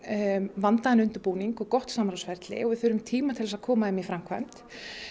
vandaðan undirbúning og gott samráðsferli og við þurfum tíma til að koma þeim í framkvæmd